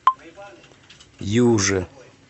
юже